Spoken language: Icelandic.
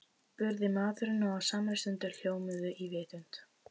spurði maðurinn og á samri stundu hljómuðu í vitund